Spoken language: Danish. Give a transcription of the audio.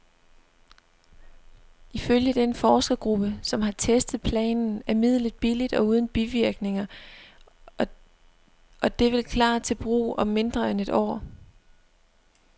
Ifølge den forskergruppe, som har testet planten, er midlet billigt og uden bivirkninger, og det vil klar til brug om mindre end et år.